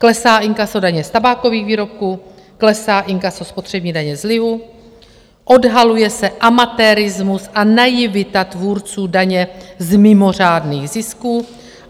Klesá inkaso daně z tabákových výrobků, klesá inkaso spotřební daně z lihu, odhaluje se amatérismus a naivita tvůrců daně z mimořádných zisků.